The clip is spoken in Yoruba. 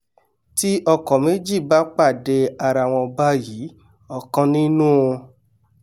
tí ọkọ̀ méjì bá pàdé arawọn báyìí ọ̀kan nínú u